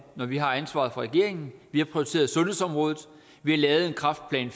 når vi har ansvaret for regeringen vi har prioriteret sundhedsområdet vi har lavet en kræftplan